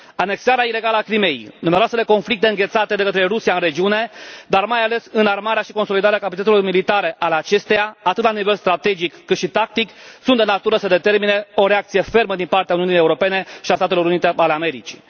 Anexarea ilegală a Crimeii, numeroasele conflicte înghețate de către Rusia în regiune, dar mai ales înarmarea și consolidarea capacităților militare ale acesteia, atât la nivel strategic, cât și tactic, sunt de natură să determine o reacție fermă din partea Uniunii Europene și a Statelor Unite ale Americii.